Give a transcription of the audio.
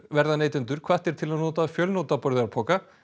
verða neytendur hvattir til að nota fjölnota burðarpoka